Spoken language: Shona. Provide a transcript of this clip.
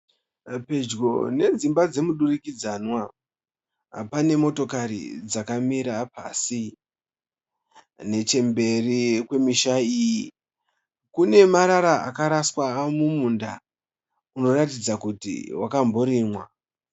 Pedyo nedzimba dzemudurukidzanwa, panemotokare dzakamira pasi. Nechemberi kwe misha iyi ,kunemarara akaraswa mumunda unoratidza kuti wakamborimwa.